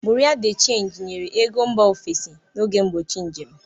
Bureau de change nyere ego mba ofesi n'oge mgbochi njem.